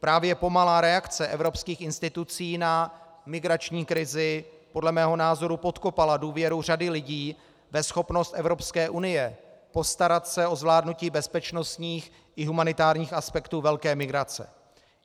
Právě pomalá reakce evropských institucí na migrační krizi podle mého názoru podkopala důvěru řady lidí ve schopnost Evropské unie postarat se o zvládnutí bezpečnostních i humanitárních aspektů velké migrace.